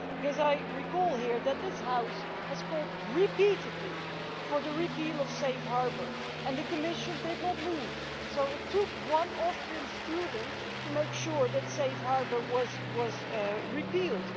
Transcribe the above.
Because I recall that this House has called repeatedly for the repeal of safe harbour and the Commission did not move, so it took one Austrian student to make sure that safe harbour was repealed.